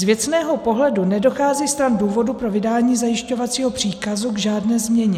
Z věcného pohledu nedochází stran důvodu pro vydání zajišťovacího příkazu k žádné změně.